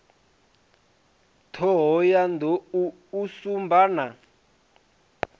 thohoyanḓ ou u sumba na